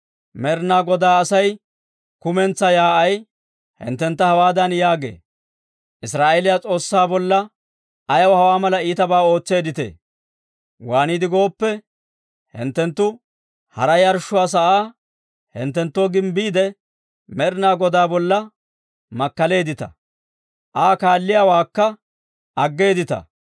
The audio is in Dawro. «Med'ina Godaa Asay kumentsaa yaa'ay hinttentta hawaadan yaagee; ‹Israa'eeliyaa S'oossaa bolla ayaw hawaa mala iitabaa ootseedditee? Waaniide gooppe, hinttenttu hara yarshshuwaa sa'aa hinttenttoo gimbbiide, Med'ina Godaa bolla makkaleeddita! Aa kaalliyaawaakka aggeeddita!